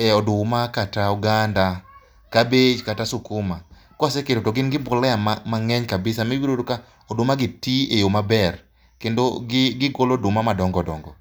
e oduma kata oganda kabich kata sikuma ka waseketo to gin gi mbolea mang'eny kabisa ma ibiro yudo ka odumagi ti eyo maber kendo gigolo oduma madongo dongo.